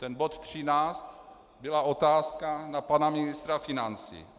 Ten bod 13 byla otázka na pana ministra financí.